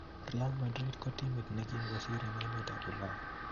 Real Madrid kot timit nekim kosir en emet ap ulaya